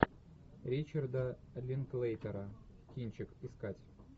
ричарда линклейтера кинчик искать